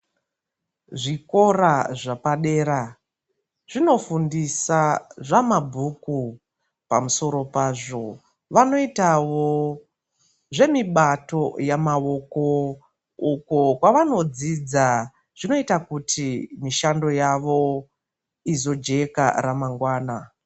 Zvikora zvapadera zvino fundisa zva mabhuku pa musoro pazvo vano itawo zve mibato ya mavoko uko kwavano dzidza zvinoita kuti mishando yavo izo jeka ra mangwana.